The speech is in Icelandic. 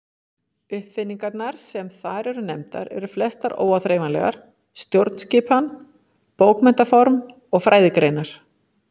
Uppfinningarnar sem þar eru nefndar eru flestar óáþreifanlegar: stjórnskipan, bókmenntaform og fræðigreinar.